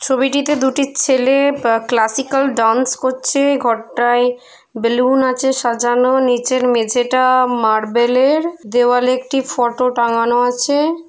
ছবিটিতে দুটি ছেলে বা ক্লাসিকাল ডান্স করছে ঘরটায় বেলুন আছে সাজানো নিচের মেঝেটা মার্বেল - এর দেওয়ালে একটি ফটো টাঙ্গানো আছে ।